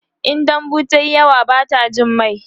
in dambu tayi yawa Bata Jin mai